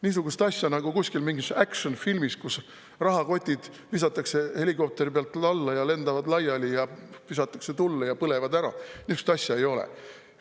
Niisugust asja nagu mingis action-filmis, kus rahakotid visatakse helikopteri pealt alla, lendavad laiali, visatakse tulle ja põlevad ära: niisugust asja ei ole.